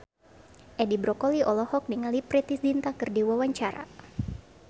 Edi Brokoli olohok ningali Preity Zinta keur diwawancara